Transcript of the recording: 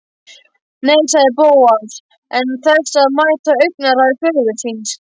Nei- sagði Bóas án þess að mæta augnaráði föður síns.